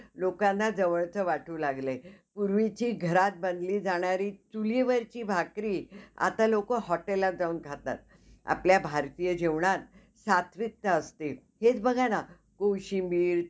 अह त्याचे character आणि त्यांच्या म्हणजे acting मुळं सगळयांना लोकांना बघायला ते आवडतं खूप. अह serial तिथं story पण चांगली नसते. तरीपण त्यांची acting चांगली असते. म्हणून ती बघायला आवडतं लोकांना.